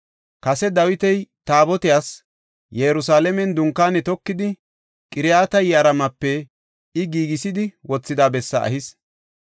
Kase Dawiti Taabotiyas Yerusalaamen dunkaane tokidi, Qiriyaat-Yi7aarimepe I giigisidi wothida bessaa ehis.